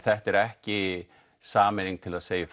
þetta er ekki sameining til að segja upp